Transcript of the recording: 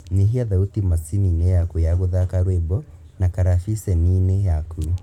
Nyihia thauti macini-inĩ yaku ya gũthaka rwĩmbo na karabiceni-inĩ yaku